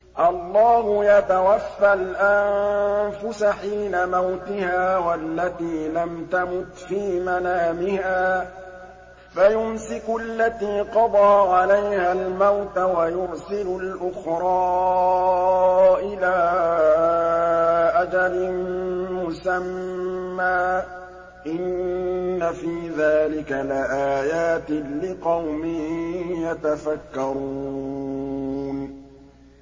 اللَّهُ يَتَوَفَّى الْأَنفُسَ حِينَ مَوْتِهَا وَالَّتِي لَمْ تَمُتْ فِي مَنَامِهَا ۖ فَيُمْسِكُ الَّتِي قَضَىٰ عَلَيْهَا الْمَوْتَ وَيُرْسِلُ الْأُخْرَىٰ إِلَىٰ أَجَلٍ مُّسَمًّى ۚ إِنَّ فِي ذَٰلِكَ لَآيَاتٍ لِّقَوْمٍ يَتَفَكَّرُونَ